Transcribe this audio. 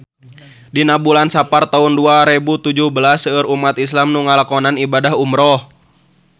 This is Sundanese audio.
Dina bulan Sapar taun dua rebu tujuh belas seueur umat islam nu ngalakonan ibadah umrah